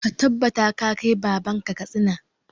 Ka tabbata ka kai baban ka Katsina!